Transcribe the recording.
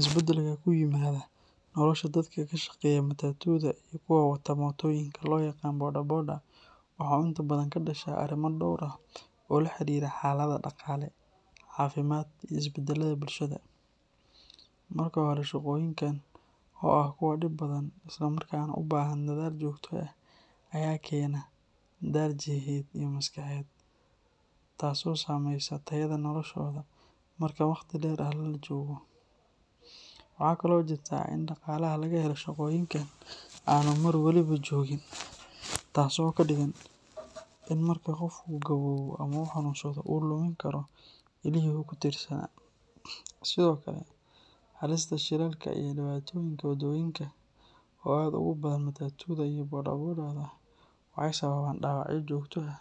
Isbedelka ku yimaada nolosha dadka ka shaqeeya matatu-da iyo kuwa wataa mootooyinka loo yaqaan boda boda waxa uu inta badan ka dhashaa arrimo dhowr ah oo la xiriira xaaladaha dhaqaale, caafimaad, iyo isbedelada bulshada. Marka hore, shaqooyinkan oo ah kuwo dhib badan isla markaana u baahan dadaal joogto ah ayaa keena daal jidheed iyo maskaxeed, taas oo saameysa tayada noloshooda marka waqti dheeri ah la joogo. Waxa kale oo jirta in dhaqaalaha laga helo shaqooyinkan aanu mar walba joogin, taasoo ka dhigan in marka qofku gaboobo ama uu xanuunsado uu lumin karo ilihii uu ku tiirsanaa. Sidoo kale, halista shilalka iyo dhibaatooyinka waddooyinka oo aad ugu badan matatu-da iyo boda boda-da waxay sababaan dhaawacyo joogto ah